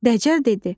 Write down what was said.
Dəcəl dedi.